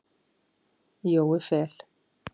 Jói Fel.